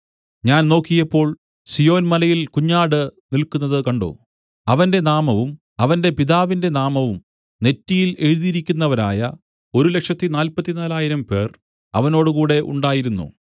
ഞാൻ നോക്കിയപ്പോൾ സീയോൻമലയിൽ കുഞ്ഞാട് നില്ക്കുന്നതു കണ്ട് അവന്റെ നാമവും അവന്റെ പിതാവിന്റെ നാമവും നെറ്റിയിൽ എഴുതിയിരിക്കുന്നവരായ 144000 പേർ അവനോടുകൂടെ ഉണ്ടായിരുന്നു